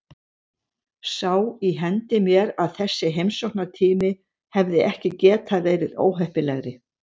Sá í hendi mér að þessi heimsóknartími hefði ekki getað verið óheppilegri.